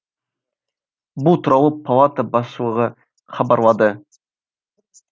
бұл туралы палата басшылығы хабаралады